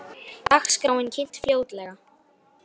Dagskráin kynnt fljótlega